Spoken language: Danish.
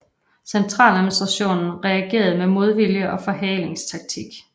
Centraladministrationen reagerede med modvilje og forhalingstaktik